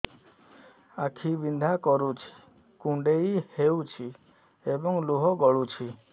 ଆଖି ବିନ୍ଧା କରୁଛି କୁଣ୍ଡେଇ ହେଉଛି ଏବଂ ଲୁହ ଗଳୁଛି